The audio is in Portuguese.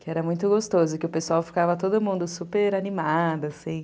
Que era muito gostoso, que o pessoal ficava todo mundo super animado, assim.